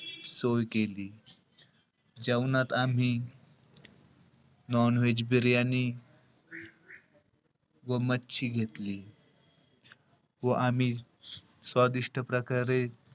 सोय केली. जेवणात आम्ही non-veg बिर्याणी व मच्छी घेतली. व आम्ही स्वादिष्ट प्रकारे,